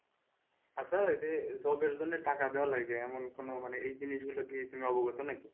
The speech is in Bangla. আচ্ছা ওই যে job এর জন্য টাকা দেওয়া লাগে এমন কোন মানে এই জিনিসগুলো নিয়ে তুমি অবগত নাকি?